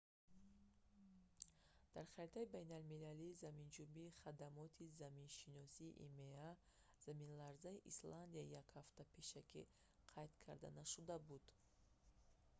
дар харитаи байналмилалии заминҷунбии хадамоти заминшиносии има заминларзаи исландия як ҳафта пешакӣ қайд карда нашуда буд